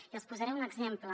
i els posaré un exemple